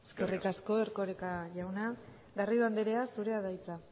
eskerrik asko eskerrik asko erkoreka jauna garrido andrea zurea da hitza